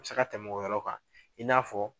Se ka tɛnɛ o yɔrɔ kan i n'a fɔ